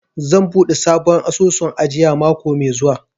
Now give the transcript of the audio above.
Zan buɗe sabon asusun ajiya mako mai zuwa.